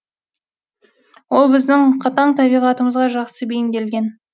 ол біздің қатаң табиғатымызға жақсы бейімделген